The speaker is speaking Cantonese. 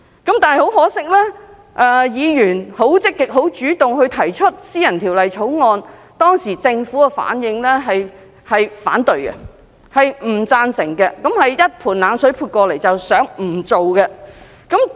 很可惜，議員積極主動提出私人法案，但當時政府的反應卻是反對及不贊成，可說是潑了一盆冷水，不想立法。